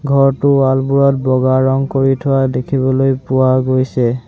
ঘৰটোৰ ৱাল বোৰত বগা ৰং কৰি থোৱা দেখিবলৈ পোৱা গৈছে।